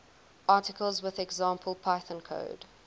articles with example python code